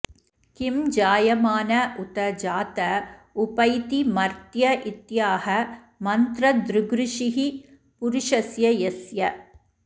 किं जायमान उत जात उपैति मर्त्य इत्याह मन्त्रदृगृषिः पुरुषस्य यस्य